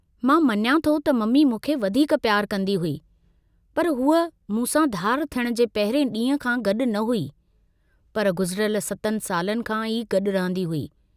मां मञां थो त मम्मी मूंखे वधीक पियारु कन्दी हुई, पर हुअ मूंसां धार थियण जे पहिरिएं डींहं खां गड्डु न हुई, पर गुजिरयल सतनि सालनि खां ई गड्डु रहंदी हुई।